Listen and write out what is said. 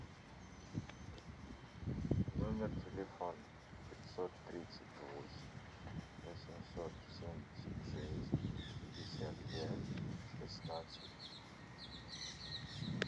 номер телефона пятьсот тридцать восемь восемьсот семьдесят шесть пятьдесят пять шестнадцать